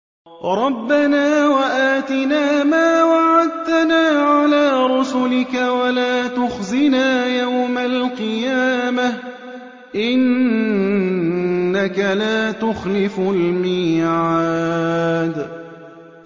رَبَّنَا وَآتِنَا مَا وَعَدتَّنَا عَلَىٰ رُسُلِكَ وَلَا تُخْزِنَا يَوْمَ الْقِيَامَةِ ۗ إِنَّكَ لَا تُخْلِفُ الْمِيعَادَ